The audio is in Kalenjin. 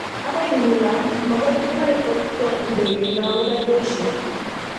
Agoi nguno makoi kinai kot ko ndegeino kobo jeshi.